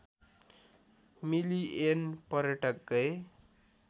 million पर्यटक गए